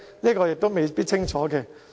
這亦未必清楚。